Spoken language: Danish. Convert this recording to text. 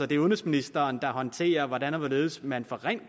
det er udenrigsministeren der håndterer hvordan og hvorledes man fra